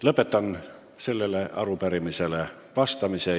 Lõpetan sellele arupärimisele vastamise.